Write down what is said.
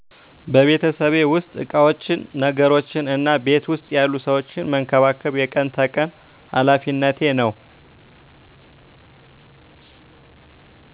በቤተሰቤ ዉስጥ እቃወችን ነገሮችነ እና ቤት ዉስጥ ያሉ ሰወችን መንከባከብ የቀን ተቀን ሃላፌነቴ ነዉ።